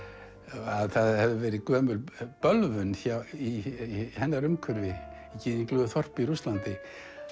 að það hefði verið gömul bölvun í hennar umhverfi í þorpi í Rússlandi